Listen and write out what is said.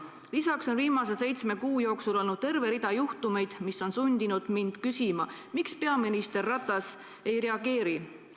Lisaks on viimase seitsme kuu jooksul olnud terve rida juhtumeid, mis on sundinud mind küsima, miks peaminister Ratas ei reageeri.